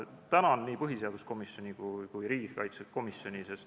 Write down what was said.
Tänan nii põhiseaduskomisjoni kui ka riigikaitsekomisjoni.